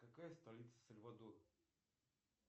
какая столица сальвадора